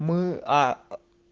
мы а